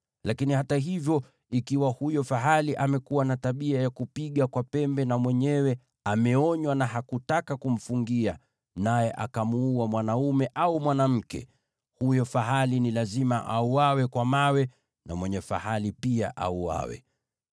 Lakini hata hivyo, ikiwa huyo fahali amekuwa na tabia ya kupiga kwa pembe, na mwenyewe ameonywa na hakutaka kumfungia naye akamuua mwanaume au mwanamke, huyo fahali ni lazima auawe kwa mawe na mwenye fahali pia auawe.